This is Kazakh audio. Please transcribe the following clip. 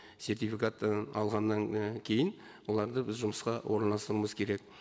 сертификат і алғаннан і кейін оларды біз жұмысқа орналастыруымыз керек